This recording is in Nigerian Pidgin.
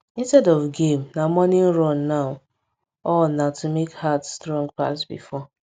instead of game na morning run now all na to make heart strong pass before